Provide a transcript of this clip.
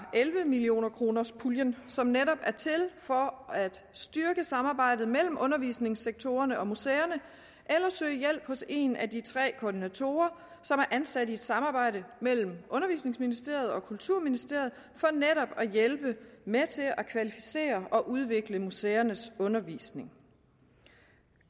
elleve millionerkronerspuljen som netop er til for at styrke samarbejdet mellem undervisningssektorerne og museerne eller søge hjælp hos en af de tre koordinatorer som er ansat i et samarbejde mellem undervisningsministeriet og kulturministeriet for netop at hjælpe med til at kvalificere og udvikle museernes undervisning